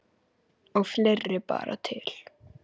Og fleira bar til.